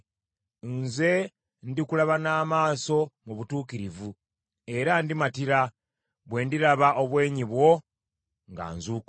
Nze ndikulaba n’amaaso mu butuukirivu era ndimatira, bwe ndiraba obwenyi bwo nga nzuukuse.